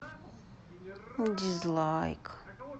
дизлайк